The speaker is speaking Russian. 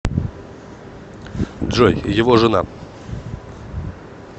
джой его жена